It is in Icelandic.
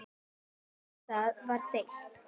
Um það var deilt.